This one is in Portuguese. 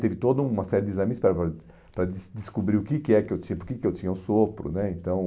Teve toda uma série de exames para des descobrir o que que é que eu tin porque que eu tinha o sopro né, então